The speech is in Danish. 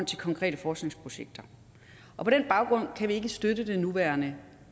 til konkrete forskningsprojekter og på den baggrund kan vi ikke støtte det nuværende